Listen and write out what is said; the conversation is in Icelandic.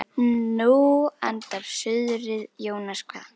Nú andar suðrið Jónas kvað.